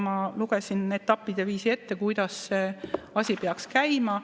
Ma lugesin etappide viisi ette, kuidas see asi peaks käima.